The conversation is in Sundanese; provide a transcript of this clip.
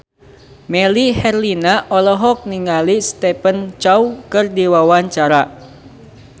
Melly Herlina olohok ningali Stephen Chow keur diwawancara